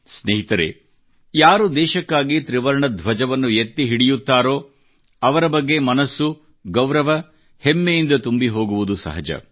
ಸ್ನೇಹಿತರೆ ಯಾರು ದೇಶಕ್ಕಾಗಿ ತ್ರಿವರ್ಣ ಧ್ವಜವನ್ನು ಎತ್ತಿ ಹಿಡಿಯುತ್ತಾರೋ ಅವರ ಬಗ್ಗೆ ಮನಸ್ಸು ಗೌರವ ಹೆಮ್ಮೆಯಿಂದ ತುಂಬಿ ಹೋಗುವುದು ಸಹಜ